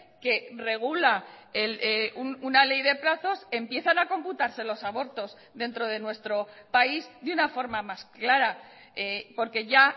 que regula una ley de plazos empiezan a computarse los abortos dentro de nuestro país de una forma más clara porque ya